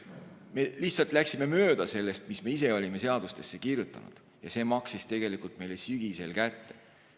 Me lihtsalt läksime mööda sellest, mis me ise olime seadustesse kirjutanud, ja see maksis tegelikult meile sügisel kätte.